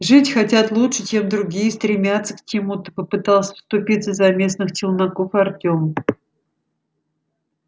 жить хотят лучше чем другие стремятся к чему-то попытался вступиться за местных челноков артём